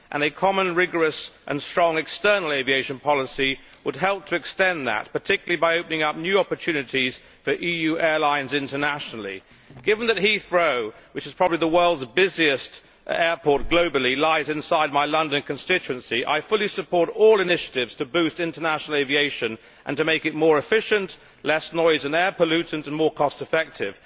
A common rigorous and strong external aviation policy would help to extend that, particularly by opening up new opportunities for EU airlines internationally. Given that Heathrow, which is probably the world's busiest airport globally, lies inside my London constituency, I fully support all initiatives to boost international aviation and to make it more efficient, less noise and air pollutant and more cost effective.